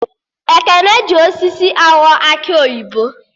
Ekene hi osisi aghọ akị oyibo